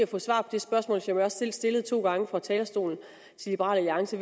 få svar på det spørgsmål som jeg selv har stillet to gange fra talerstolen til liberal alliance